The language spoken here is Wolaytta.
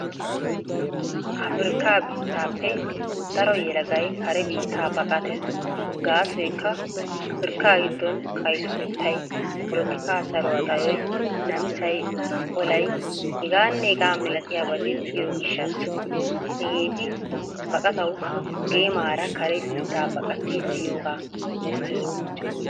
Affirkka biittappe daro yelagay kare biitta baqqattees. Gasoykka Affirkka giddon kaysotettay, potolika saruwaa xayoy, namisaay, olaay h.h.milatiyabati deiyo gishaasa. Hageetti baqqattawu geemaarara kare biitta baqqattidi deiyoga beeses.